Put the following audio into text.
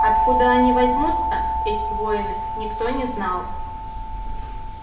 откуда они возьмутся эти воины никто не знал